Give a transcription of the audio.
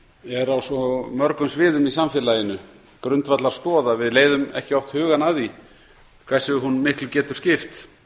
er á svo mörgum sviðum í samfélaginu grundvallarstoð að við leiðum ekki oft hugann að því hversu miklu hún getur skipt